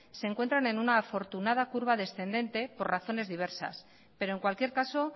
se encuentran en una afortunada curva descendente por razones diversas pero en cualquier caso